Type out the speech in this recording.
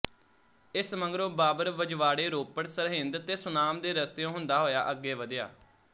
ਇਸ ਮਗਰੋਂ ਬਾਬਰ ਵਜਵਾੜੇ ਰੋਪੜ ਸਰਹਿੰਦ ਤੇ ਸੁਨਾਮ ਦੇ ਰਸਤਿਓਂ ਹੁੰਦਾ ਹੋਇਆ ਅੱਗੇ ਵਧਿਆ